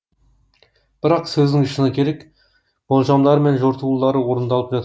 бірақ сөздің шыны керек болжамдары мен жортулары орындалып жатады